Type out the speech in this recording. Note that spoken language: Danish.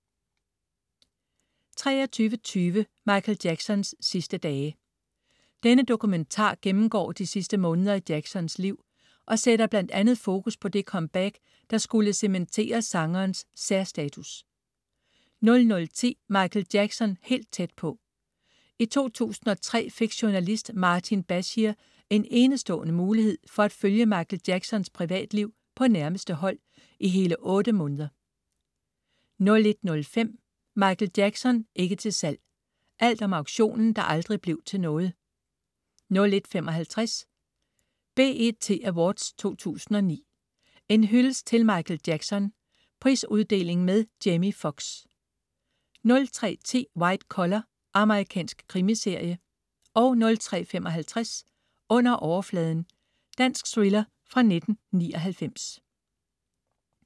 23.20 Michael Jacksons sidste dage. Denne dokumentar gennemgår de sidste måneder i Jacksons liv og sætter bl.a. fokus på det comeback, der skulle cementere sangerens særstatus 00.10 Michael Jackson helt tæt på. I 2003 fik journalist Martin Bashir en enestående mulighed for at følge Michael Jacksons privatliv på nærmeste hold i hele otte måneder 01.05 Michael Jackson ikke til salg. Alt om auktionen, der aldrig blev til noget 01.55 BET Awards 2009. En hyldest til Michael Jackson. Prisuddeling med Jamie Foxx 03.10 White Collar. Amerikansk krimiserie 03.55 Under overfladen. Dansk thriller fra 1999